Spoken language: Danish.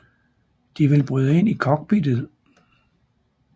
De vil bryde ind i cockpittet